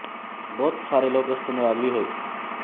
ਬਹੁਤ ਸਾਰੇ ਲੋਕ ਇਸ ਤੋਂ ਨਰਾਜ਼ ਵੀ ਹੋਏ